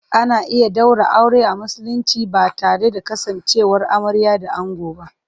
Ana iya ɗaura aure a Musulunci ba tare da kasancewar amarya da ango ba.